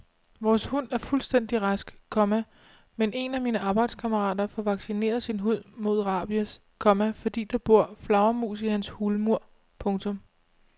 Vores hund er fuldstændig rask, komma men en af mine arbejdskammerater får vaccineret sin hund mod rabies, komma fordi der bor flagermus i hans hulmur. punktum